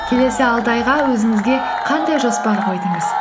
келесі алты айға өзіңізге қандай жоспар қойдыңыз